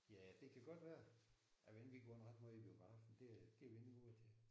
Ja det kan godt være. Jeg ved det ikke vi går ikke ret meget i biografen det er det er vi ikke gode til